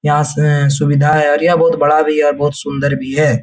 यहाँ से सुविधा है और यह बहुत बड़ा भी है बहुत सुन्दर भी है ।